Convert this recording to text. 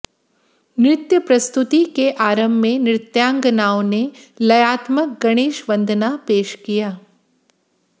नृत्य प्रस्तुति के आरंभ में नृत्यांगनाओं ने लयात्मक गणेश वंदना पेश किया